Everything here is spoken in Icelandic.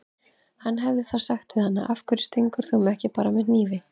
Hann hefði þá sagt við hana: Af hverju stingur þú mig ekki bara með hnífi?